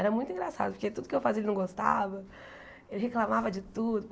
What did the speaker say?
Era muito engraçado, porque tudo que eu fazia ele não gostava, ele reclamava de tudo.